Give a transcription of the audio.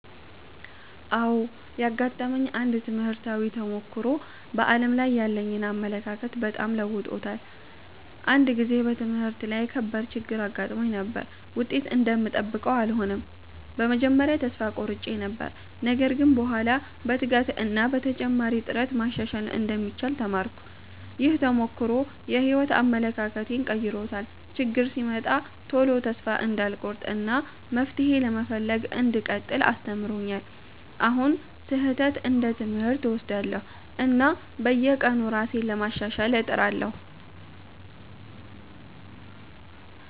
አዎ፣ ያጋጠመኝ አንድ ትምህርታዊ ተሞክሮ በዓለም ላይ ያለኝን አመለካከት በጣም ለውጦታል። አንድ ጊዜ በትምህርት ላይ ከባድ ችግር አጋጥሞኝ ነበር፤ ውጤት እንደምጠብቀው አልሆነም። በመጀመሪያ ተስፋ ቆርጬ ነበር፣ ነገር ግን በኋላ በትጋት እና በተጨማሪ ጥረት ማሻሻል እንደሚቻል ተማርኩ። ይህ ተሞክሮ የሕይወት አመለካከቴን ቀይሮታል፤ ችግር ሲመጣ ቶሎ እንዳልቆርጥ እና መፍትሄ ለመፈለግ እንዲቀጥል አስተምሮኛል። አሁን ስህተትን እንደ ትምህርት እወስዳለሁ፣ እና በየቀኑ ራሴን ለማሻሻል እጥራለሁ።